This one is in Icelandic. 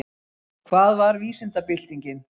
Hvað var vísindabyltingin?